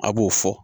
A b'o fɔ